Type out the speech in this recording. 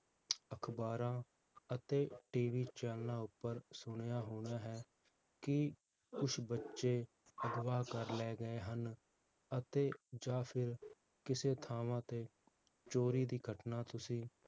ਅਖਬਾਰਾਂ ਅਤੇ TV ਚੈਨਲਾਂ ਉਪਰ ਸੁਣਿਆ ਹੋਣਾ ਹੈ ਕਿ ਕੁਛ ਬਚੇ ਅਘਵਾ ਕਰ ਲੈ ਗਏ ਹਨ, ਅਤੇ ਜਾਂ ਫਿਰ, ਕਿਸੇ ਥਾਵਾਂ ਤੇ ਚੋਰੀ ਦੀ ਘਟਨਾ ਤੁਸੀਂ